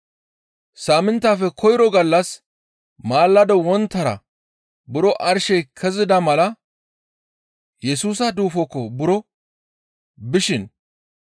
Saaminttafe koyro gallas maalado wonttara buro arshey kezida mala Yesusa duufokko buro bishin,